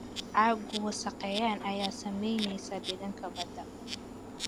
Caaggu wasakheyn ayaa saameynaysa deegaanka badda.